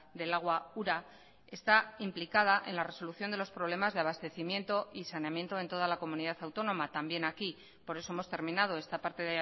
del agua ura está implicada en la resolución de los problemas de abastecimiento y saneamiento en toda la comunidad autónoma también aquí por eso hemos terminado esta parte